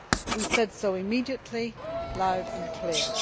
We said so immediately, loud and clear.